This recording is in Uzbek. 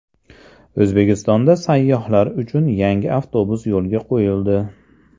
O‘zbekistonda sayyohlar uchun yangi avtobus yo‘lga qo‘yildi.